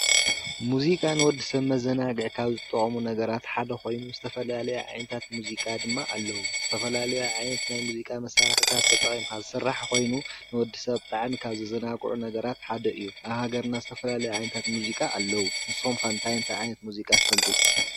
ሙዚቃ ንወዲ ሰብ መዘናግዒ ካብ ዝጠቐሙ ነገራት ሓደ ኾይኑ ዝተፈላለየ ዓይነታት ሙዚቃ ድማ ኣለዉ፡፡ ዝተፈላለያ ዓይንት ናይ ሙዚቃ መሳርሕታት ተጠቐምካ ዝስራሕ ኾይኑ ንወዲ ሰብ ብጣዕሚ ካብ ዘዘናግዑ ነገራት ሓደ እዩ፡፡ ኣብ ሃገርና ዝተፈላለዩ ዓይነታት ሙዚቃ ኣለዉ፡፡ ንስኹም ከ እንታይ ዓይነት ሙዚቃ ትፈልጡ?